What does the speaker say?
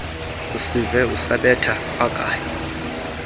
usive esabetha kwakanye